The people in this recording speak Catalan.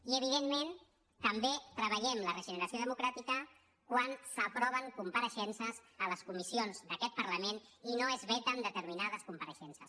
i evidentment també treballem la regenera·ció democràtica quan s’aproven compareixences a les comissions d’aquest parlament i no es veten determi·nades compareixences